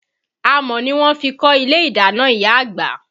Amọ̀ ni wọ́n fi kọ́ ilé ìdáná ìyá àgbà.